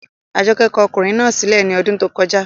Àjọkẹ́ kọ ọkùnrin náà sí lẹ̀ ní ọdún tó kọjá